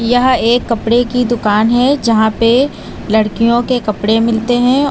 यह एक कपड़े की दुकान है जहां पे लड़कियों के कपड़े मिलते हैं।